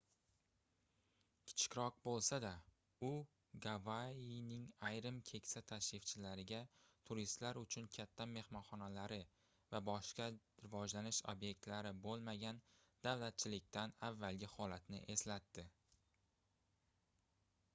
kichikroq boʻlsa-da u gavayining ayrim keksa tashrifchilariga turistlar uchun katta mehmonxonalari va boshqa rivojlanish obyektlari boʻlmagan davlatchilikdan avvalgi holatni eslatadi